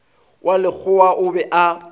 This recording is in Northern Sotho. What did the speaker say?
wa lekgowa o be a